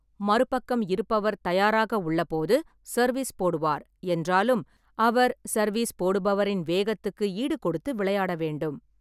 மறுபக்கம் இருப்பவர் தயாராக உள்ளபோது சர்வீஸ் போடுவார், என்றாலும் அவர் சர்வீஸ் போடுபவரின் வேகத்துக்கு ஈடுகொடுத்து விளையாட வேண்டும்.